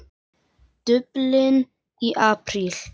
Dublin í apríl